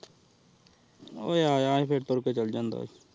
ਓਹ ਯਾ ਸੀ ਪੈਪਰ ਕਰਕੇ ਚਲਾ ਜਾਂਦਾ ਕੀ